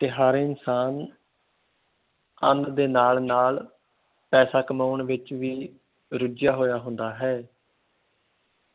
ਤੇ ਹਰ ਇਨਸਾਨ ਅੰਨ ਦੇ ਨਾਲ ਨਾਲ ਪੈਸਾ ਕਮਾਉਣ ਵਿਚ ਵੀ ਰੁੱਝਿਆ ਹੋਇਆ ਹੁੰਦਾ ਹੈ